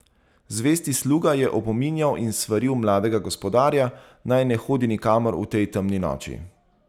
Zvesti sluga je opominjal in svaril mladega gospodarja, naj ne hodi nikamor v tej temni noči.